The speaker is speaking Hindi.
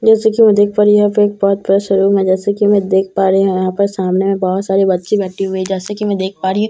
जैसा कि मैं देख पा रही हूं यहां पे बहुत प्रेसर हूं में जैसे कि मैं देख पा रही हूं यहां पर सामने में बहुत सी भच्‍छी भट्टी हुई है जैसे कि मैं देख पा रही हूं --